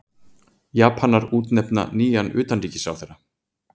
Japanar útnefna nýjan utanríkisráðherra